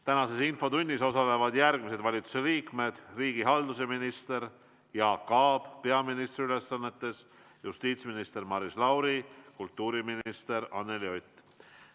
Tänases infotunnis osalevad järgmised valitsusliikmed: riigihalduse minister Jaak Aab peaministri ülesannetes, justiitsminister Maris Lauri ja kultuuriminister Anneli Ott.